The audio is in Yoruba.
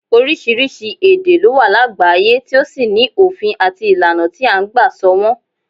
Oríṣiríṣi èdè ló wà lágbàáyé tí ó sì ní òfin àti ìlànà tí à ń gbà sọ wọn